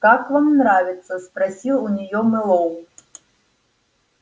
как вам нравится спросил у неё мэллоу